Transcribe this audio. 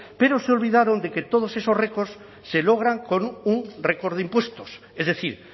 pero se olvidaron de que todos esos récords se logran con un récord de impuestos es decir